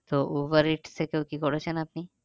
তো Uber eats থেকেও কি করেছেন আপনি?